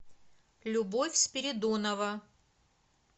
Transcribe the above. любовь спиридонова